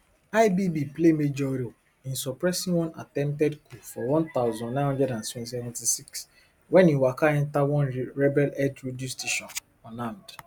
ibb play major role in suppressing one attempted coup for one thousand, nine hundred and seventy-six wen e waka enta one rebelheld radio station unarmed